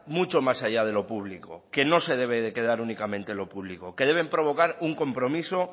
mucho más allá de lo público que no se debe de quedar únicamente en lo público que deben provocar un compromiso